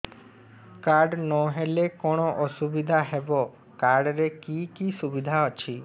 card ନହେଲେ କଣ ଅସୁବିଧା ହେବ କାର୍ଡ ରେ କି କି ସୁବିଧା ଅଛି